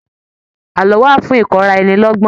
Àlọ́ wà fún ìkọ́ra ẹni lọ́gbọ́n